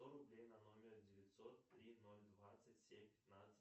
сто рублей на номер девятьсот три ноль двадцать семь пятнадцать